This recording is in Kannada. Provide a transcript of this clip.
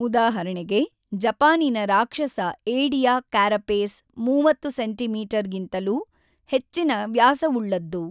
ಉದಾಹರಣೆಗೆ ಜಪಾನಿನ ರಾಕ್ಷಸ ಏಡಿಯ ಕ್ಯಾರಪೇಸ್ 30 ಸೆಂಮೀಗಿಂತಲೂ ಹೆಚ್ಚಿನ ವ್ಯಾಸವುಳ್ಳದ್ದು.